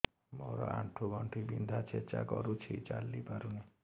ମୋର ଆଣ୍ଠୁ ଗଣ୍ଠି ବିନ୍ଧା ଛେଚା କରୁଛି ଚାଲି ପାରୁନି